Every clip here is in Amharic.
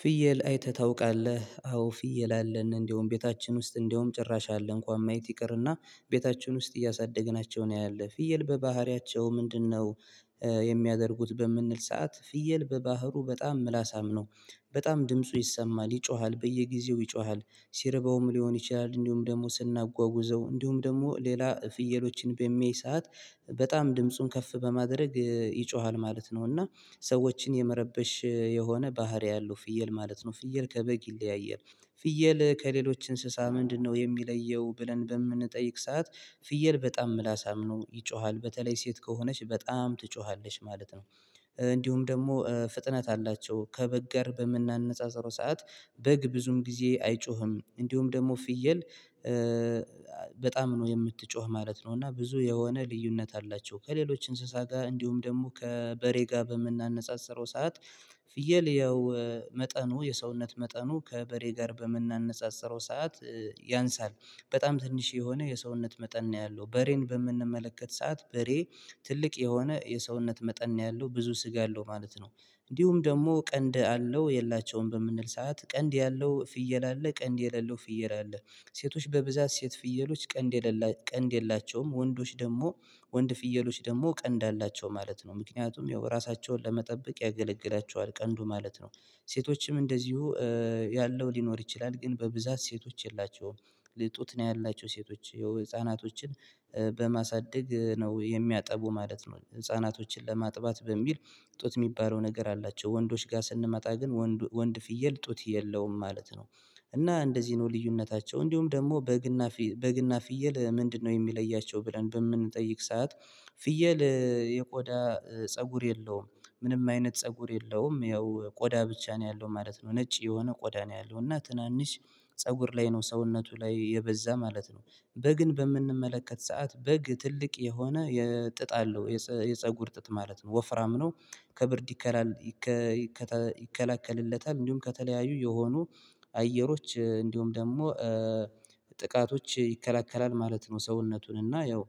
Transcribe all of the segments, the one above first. ፍየል አይተህ ታውቃለህ? አዎ፣ ፍየል አለን እንደውም ቤታችን ውስጥ እንደውም ጭራሽ አለ። እንኳን ማየት ይቅርና ቤታችሁን ውስጥ እያሳደግናቸው ነው ያለው። ፍየል በባህሪያቸው ምንድነው? የሚያደርጉት በምንል ሰዓት ፍየል፣ በባህሩ በጣም ምላሳም ነው። በጣም ድምፁ ይሰማል፣ ይጮሃል በየጊዜው ይጮሃል። ሲርበውም ሊሆን ይችላል፣ እንዲሁም ደግሞ ስናጓጉዘው፣ እንዲሁም ደግሞ ሌላ ፍየሎችን በሚይይ ሰዓት በጣም ድምፁን ከፍ በማድረግ ይጮሃል ማለት ነው። እና ሰዎችን የመረበሽ የሆነ ባህሪ አለው ፍየል ማለት ነው። ፍየል ከበግ ይለያያል። ፍየል ከሌሎች እንስሳ ምንድነው የሚለየው? ብለን በምንጠይቅ ሰዓት፣ ፍየል በጣም ምላስም ነው፣ ይጮሃል። በተለይ ሴት ከሆነች በጣም ትጮሃለሽ ማለት ነው። እንዲሁም ደግሞ ፍጥነት አላቸው ከበግ ጋር በምናነጻጽረው ሰዓት በግ ብዙም ጊዜ አይጮህም። እንዲሁም ደግሞ ፍየል በጣም ነው የምትጮህ ማለት ነው። እና ብዙ የሆነ ልዩነት አላቸው። ከሌሎች እንስሳ ጋር እንዲሁም ደግሞ ከበሬ ጋር በምናነጻጽረው ሰዓት ፍየል ያው መጠኑ የሰውነት መጠኑ ከበሬ ጋር በምናነጻጽረው ሰዓት ያንሳል፣ በጣም ትንሽ የሆነ የሰውነት መጠን ነው ያለው። በሬን በምንመለከት ሰዓት በሬ ትልቅ የሆነ የሰውነት መጠን ነው ያለው ብዙ ስጋ አለው ማለት ነው። እንዲሁም ደግሞ ቀንድ አለው የላቸውም በምንል ሰዓት ቀንድ ያለው ፍየል አለ፣ ቀንድ የሌለው ፍየል አለ። ሴቶች በብዛት ሴት ፍየሎች ቀንድ የለላቸው ቀንድ የሌላቸውም። ወንዶች ደግሞ ወንድ ፍየሎች ደግሞ ቀንድ አላቸው ማለት ነው። ምክንያቱም ያው ራሳቸውን ለመጠበቅ ያገለግላቸዋል ቀንዱ ማለት ነው። ሴቶችም እንደዚሁ ያለው ሊኖር ይችላል ግን በብዛት ሴቶች የላቸውም። ጡት ነው ያላቸው ሴቶች። የህፃናቶችን በማሳደግ ነው የሚያጠቡ ማለት ነው፣ ህፃናቶችን ለማጥባት በሚል ጡት የሚባለው ነገር አላቸው። ወንዶች ጋር ስንመጣ ግን ወንድ ፍየል ጡት የለውም ማለት ነው። እና እንደዚህ ነው ልዩነታቸው። እንዲሁም ደግሞ በግና በግና ፍየል ምንድነው የሚለያቸው ብለን በምንጠይቅ ሰዓት ፍየል የቆዳ ፀጉር የለውም። ምንም አይነት ፀጉር የለውም። ያው ቆዳ ብቻ ነው ያለው ማለት ነው፣ ነጭ የሆነ ቆዳ ነው ያለው፣ እና ትናንሽ ፀጉር ላይ ነው ሰውነቱ ላይ የበዛ ማለት ነው። በግን በምንመለከት ሰዓት በግ ትልቅ የሆነ የጥጥ አለው፤ የፀጉር ጥጥ ማለት ነው። ወፍራም ነው፤ ከብርድ ይከላከልለታል። እንዲሁም ከተለያዩ የሆኑ አየሮች እንዲሁም ደግሞ ጥቃቶች ይከላከላል ማለት ነው ሰውነቱን እና ያው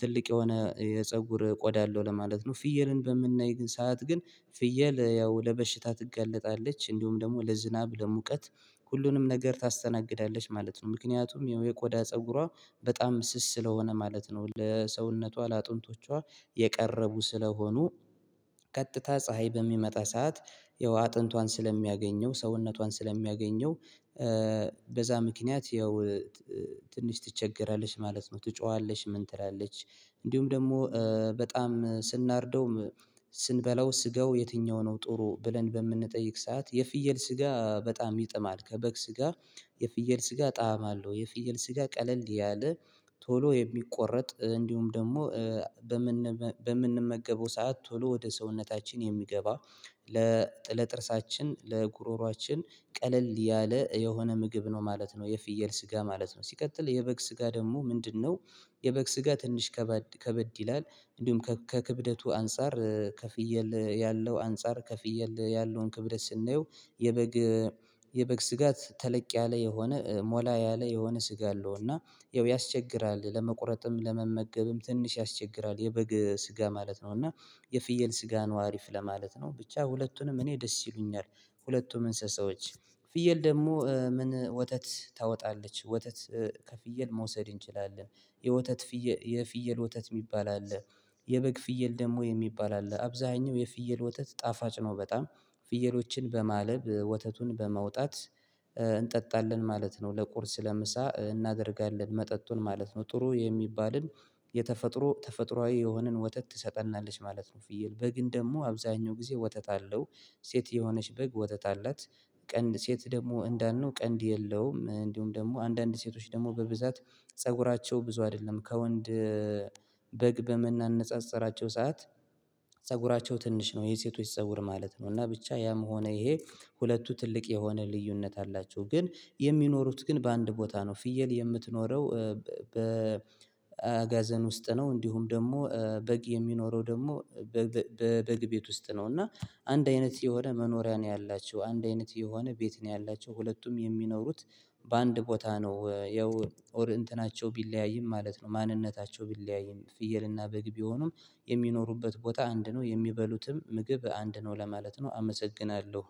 ትልቅ የሆነ የፀጉር ቆዳ አለው ለማለት ነው። ፍየልን በምናይ ሰዓት ግን ፍየል ያው ለበሽታ ትገለጣለች እንዲሁም ደግሞ ለዝናብ፣ ለሙቀት ሁሉንም ነገር ታስተናግዳለች ማለት ነው። ምክንያቱም የቆዳ ፀጉሯ በጣም ስስ ስለሆነ ማለት ነው ለሰውነቷ፣ ለአጥንቶቿ የቀረቡ ስለሆኑ ቀጥታ ፀሀይ በሚመጣ ሰዓት ያው አጥንቷን ስለሚያገኘው፣ ሰውነቷን ስለሚያገኘው በዛ ምክንያት ያው ትንሽ ትቸገራለሽ ማለት ነው፤ ትጮሃለሽ ምን ትላለች። እንዲሁም ደግሞ በጣም ስናርደውም፣ ስንበላው ስጋው የትኛው ነው ጥሩ ብለን በምንጠይቅ ሰዓት የፍየል ስጋ በጣም ይጥማል። ከበግ ስጋ የፍየል ስጋ ጣዕም አለው። የፍየል ስጋ ቀለል ያለ፣ ቶሎ የሚቆረጥ እንዲሁም ደግሞ በምንመገበው ሰዓት ቶሎ ወደ ሰውነታችን የሚገባ፣ ለጥርሳችን፣ ለጉሮሮአችን ቀለል ያለ የሆነ ምግብ ነው ማለት ነው የፍየል ስጋ ማለት ነው። ሲቀጥል የበግ ስጋ ደግሞ ምንድነው? የበግ ስጋ ትንሽ ከበድ ይላል። እንዲሁም ከክብደቱ አንፃር ከፍየል ያለው አንፃር ከፍየል ያለውን ክብደት ስናየው የበግ የበግ ስጋት ተለቅ ያለ የሆነ፣ ሞላ ያለ የሆነ ስጋ አለው። እና ያው ያስቸግራል፤ ለመቁረጥም፣ ለመመገብም ትንሽ ያስቸግራል የበግ ስጋ ማለት ነው። እና የፍየል ስጋ ነው አሪፍ ለማለት ነው። ብቻ ሁለቱንም እኔ ደስ ይሉኛል። ሁለቱም እንስሳዎች። ፍየል ደግሞ ምን ወተት ታወጣለች፣ ወተት ከፍየል መውሰድ እንችላለን። የወተት፤ የፍየል ወተት የሚባል አለ። የበግ፣ ፍየል ደግሞ የሚባል አለ። አብዛኛው የፍየል ወተት ጣፋጭ ነው በጣም። ፍየሎችን በማለብ፣ ወተቱን በመውጣት እንጠጣለን ማለት ነው፤ ለቁርስ፣ ለምሳ እናደርጋለን መጠጡን ማለት ነው። ጥሩ የሚባልን የተፈጥሮ፣ ተፈጥሮአዊ የሆነን ወተት ትሰጠናለች ማለት ነው ፍየል። በግን ደግሞ አብዛኛው ጊዜ ወጥታ አለው። ሴት የሆነች በግ ወተት አላት። ቀንድ፣ ሴት ደግሞ እንዳልነው ቀንድ የለውም። እንዲሁም አንዳንድ ሴቶች ደግሞ በብዛት ፀጉራቸው ብዙ አይደለም። ከወንድ በግ በምናነፃፀራቸው ሰዓት ፀጉራቸው ትንሽ ነው። የሴቶች ፀጉር ማለት ነው እና ብቻ ያም ሆነ ይሄ ሁለቱ ትልቅ የሆነ ልዩነት አላቸው። ግን የሚኖሩት ግን በአንድ ቦታ ነው። ፍየል የምትኖረው በአጋዘን ውስጥ ነው፣ እንዲሁም ደግሞ በግ የሚኖረው ደግሞ በበግ ቤት ውስጥ ነው። እና አንድ አይነት የሆነ መኖሪያ ነው ያላቸው። አንድ አይነት የሆነ ቤት ነው ያላቸው። ሁለቱም የሚኖሩት በአንድ ቦታ ነው ያው ኦር እንትናቸው ቢለያይም ማለት ነው፣ ማንነታቸው ቢለያይም። ፍየልና በግ ቢሆኑም የሚኖሩበት ቦታ አንድ ነው። የሚበሉትም ምግብ አንድ ነው ለማለት ነው። አመሰግናለሁ።